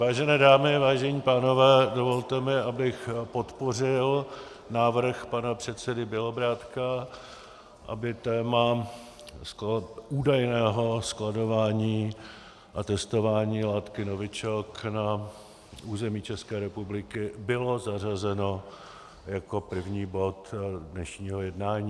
Vážené dámy, vážení pánové, dovolte mi, abych podpořil návrh pana předsedy Bělobrádka, aby téma údajného skladování a testování látky novičok na území České republiky bylo zařazeno jako první bod dnešního jednání.